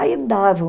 Aí davam.